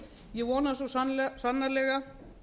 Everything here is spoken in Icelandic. ég vona svo sannarlega